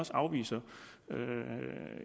afviser